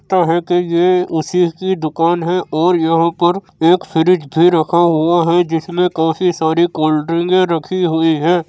लगता है कि ये उसी की दुकान है और यहाँ पर एक फ्रिज भी रखा हुआ है जिसमे काफी सारी कोल्ड्रिंके रखी हुई है।